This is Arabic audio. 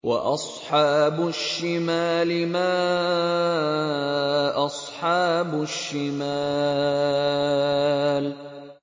وَأَصْحَابُ الشِّمَالِ مَا أَصْحَابُ الشِّمَالِ